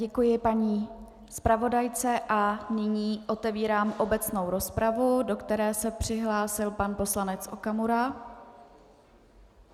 Děkuji paní zpravodajce a nyní otevírám obecnou rozpravu, do které se přihlásil pan poslanec Okamura.